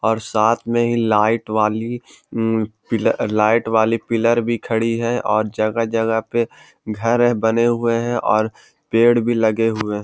और साथ में ही लाइट वाली ममम पी लाइट वाली पिलर भी खड़ी है और जगह-जगह पे घर हैं बने हुए है और पेड़ भी लगे हुए हैं।